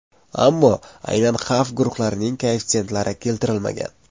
Ammo aynan xavf guruhlarining koeffitsentlari keltirilmagan.